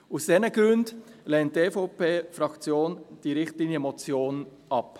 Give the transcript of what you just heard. Aus diesen Gründen lehnt die EVPFraktion diese Richtlinienmotion ab.